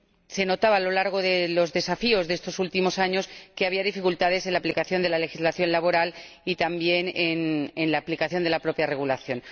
y se notaba, a lo largo de los desafíos de estos últimos años, que había dificultades en la aplicación de la legislación laboral y también en la aplicación de la propia regulación.